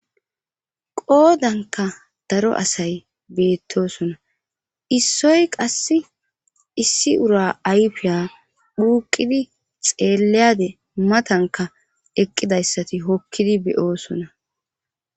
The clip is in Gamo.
Qoodanka daro asay beettosona issoy qass issi ura ayfiya phuuqidi xeelleyade matanka eqqidayssati hokkidi beyoosona.